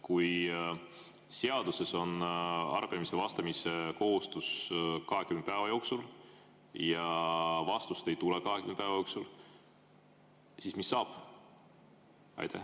Kui seaduses on kohustus vastata arupärimistele 20 päeva jooksul ja vastust ei tule 20 päeva jooksul, siis mis saab?